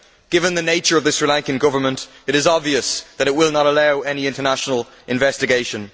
Given the nature of the Sri Lankan Government, it is obvious that it will not allow any international investigation.